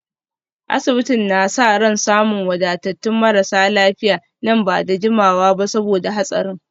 Asibitin na sa ran samun wadatattun marasa lafiya nan ba da jimawa ba saboda hatsarin